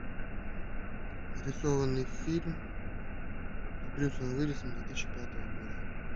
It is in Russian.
рисованный фильм с брюсом уиллисом две тысячи пятого года